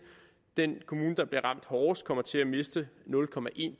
den kommune der bliver ramt hårdest kommer til at miste nul